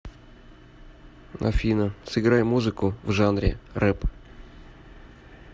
афина сыграй музыку в жанре рэп